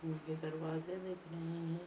मुझे दरवाजे दिख रहे हैं।